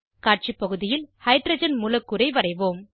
காட்சி பகுதியில் ஹைட்ரஜன் மூலக்கூறை வரைவோம்